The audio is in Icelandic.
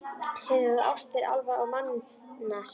Síðan eru það ástir álfa og manna, segi ég.